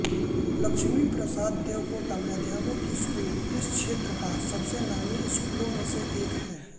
लक्ष्मी प्रसाद देवकोटा माध्यमिक स्कुल इस क्षेत्रका सबसे नामी स्कुलमेसे एक है